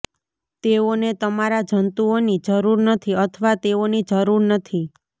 તેઓને તમારા જંતુઓની જરૂર નથી અથવા તેઓની જરૂર નથી